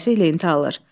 Tələsik lenti alır.